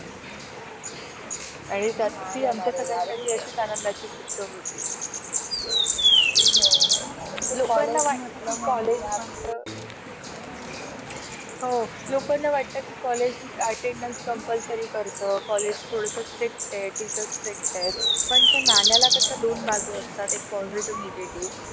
सा अ सा साक्षरतेचे प्रमाण सुधारले अ असले तरीही अधिकाधिक लोकांना शिक्षणाची गरज आहे. याची जाणीव करून देण्याची गरज आहे.